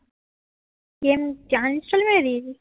game uninstall মেরে দিএছিস